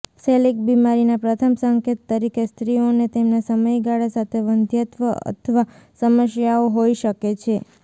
coeliac બીમારીના પ્રથમ સંકેત તરીકે સ્ત્રીઓને તેમના સમયગાળા સાથે વંધ્યત્વ અથવા સમસ્યાઓ હોઈ શકે છે